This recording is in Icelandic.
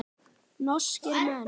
Norskir menn.